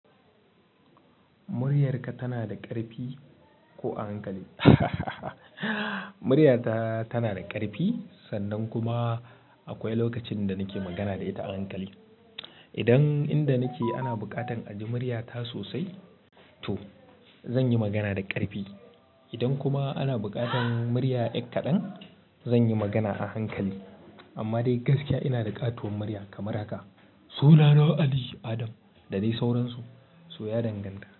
Muryarka tana da ƙarfi ko a hankali? Muryata tana da ƙarfi sannan kuma akwai lokacin da nake magana da ita a hankali. Idan inda nake ana buƙatar aji muryata sosai to zan yi magana da ƙarfi. Idan kuma ana buƙatar murya ƴar kaɗan, zan yi magana a hankali. Amma dai gaskiya ina da ƙatuwar murya kamar haka. Sunana Ali Adam da dai sauransu, so ya danganta.